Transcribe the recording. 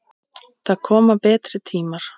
Það koma betri tímar.